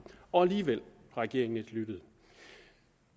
og alligevel har regeringen ikke lyttet